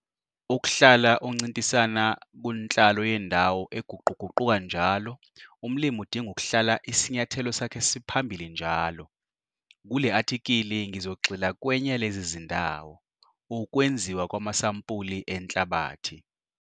Ukuhlala uncintisana kunhlalo yendawo eguquguquka njalo umlimi udinga ukuhlala isinyathelo sakhe siphambili njalo. Kule athikhili ngizogxila kwenye yalezi zindawo- Ukwenziwa kwamasampuli enhlabathi.